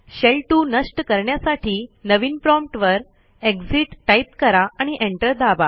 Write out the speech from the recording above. शेल2 नष्ट करण्यासाठी नवीन promptवर एक्सिट टाईप करा आणि एंटर दाबा